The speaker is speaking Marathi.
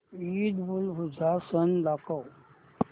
ईदउलजुहा सण दाखव